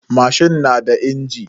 Mashin na da injin.